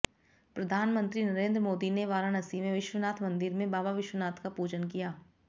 प्रधानमंत्री नरेंद्र मोदी ने वाराणसी में विश्वनाथ मंदिर में बाबा विश्वनाथ का पूजन किया